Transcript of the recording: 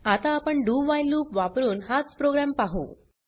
आता आपण dowhile loop वापरुन हाच प्रोग्राम पाहु